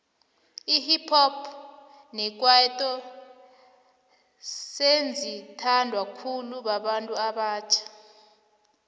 ihip hop nekwaito sezi thandwa khulu babantu abatjha